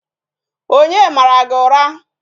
Onye mara gị ụra?